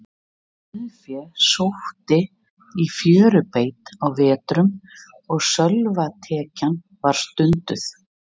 Sauðfé sótti í fjörubeit á vetrum, og sölvatekja var stunduð.